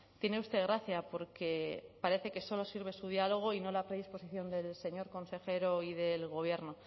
tiene usted gracia porque parece que solo sirve su diálogo y no la predisposición del señor consejero y del gobierno